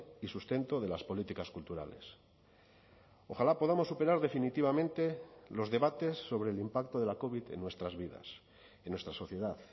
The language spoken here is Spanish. y sustento de las políticas culturales ojalá podamos superar definitivamente los debates sobre el impacto de la covid en nuestras vidas en nuestra sociedad